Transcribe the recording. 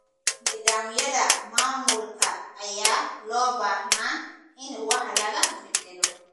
Nidaamyada maamulka ayaa loo baahnaa in wax laga beddelo.